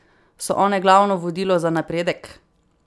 So one glavno vodilo za napredek?